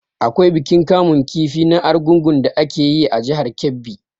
Akwai bikin kamun kifi na argungu da ake yi a jihar Kebbi.